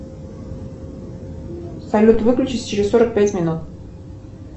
салют выключись через сорок пять минут